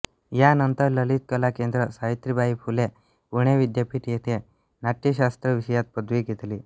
यानंतर ललित कला केंद्र सावित्रीबाई फुले पुणे विद्यापीठ येथे नाट्य शास्त्र विषयात पदवी घेतली